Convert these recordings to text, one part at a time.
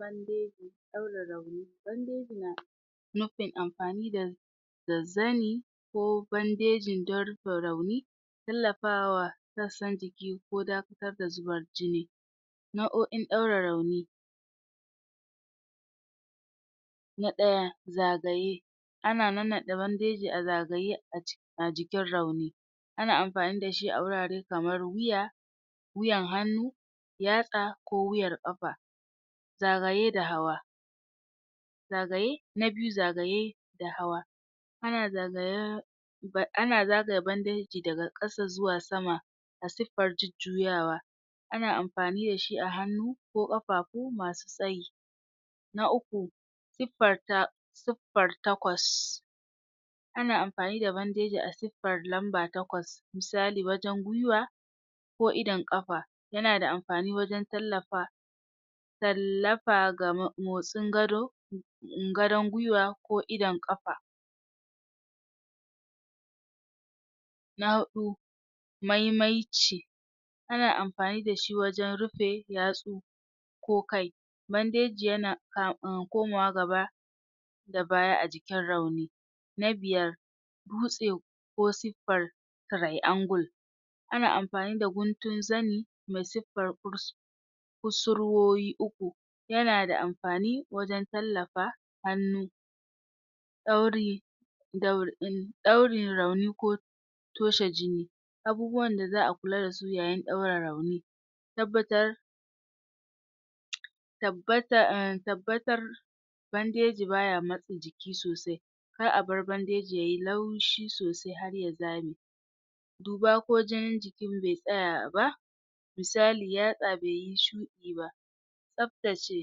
bandeji ɗaure rauni bandeji na nufin amfani da da zani ko bandejin don rufe rauni tallafawa sassan jiki ko dakatar da zubar jini nau'o'on ɗaure rauni na ɗaya zagaye ana nannaɗe bandeji a zagaye a jikin rauni ana amfani dashi a wurare kamar wuya, wuyan hannu, yatsa, ko wuyar ƙafa zagaye da hawa zagaye na biyu zagaye da hawa ana zagayen ana zagaya bandeji daga ƙasa zuwa sama a siffar jujjuyawa ana amfani dashi a hannu ko ƙafa ko masu tsayi na uku siffar ta suffar takwas ana amfani da bandeji a siffar lamba takwas misali wajen gwiwa ko idon ƙafa. yana amfani wajen tallafa tallafa ga motsin gado gadon gwiwa ko idon ƙafa. na huɗu maimaici ana amfani dashi wajen rufe yatsu ko kai bandeji yana komawa gaba da baya a jikin rauni. Na biyar dutse ko siffar triangle ana amfani da guntun zani mai siffar kusurwoyi uku yana da amfani wajen tallafa hannu ɗauri ɗaurin rauni ko toshe jini. abubuwan da za'a kula dasu yayin ɗaure rauni tabbatar tabbatar tabbatar bandeji baya matsi jiki sosai kar abar bandeji yayi laushi sosai harya zame duba ko jinin jiki ba tsaya ba misali yatsa baiyi shuɗi ba tsaftace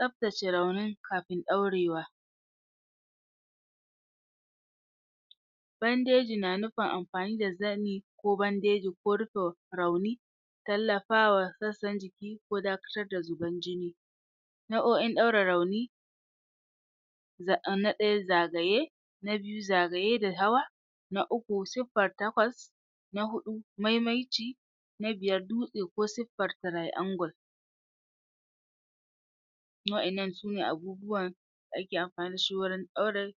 tsaftace raunin kafin ɗaurewa bandeji na nufin amfani da zani ko bandeji ko rufe rauni tallafawa sassan jiki ko dakatar da zuban jini nau'o'in ɗaure rauni za na ɗaya zagaye na biyu zagaye da hawa na uku sifar takwas na huɗu maimaici na biyar dutse ko siffar triangle wa'innan sune abubuwan da ake amfani dashi wurin ɗaure.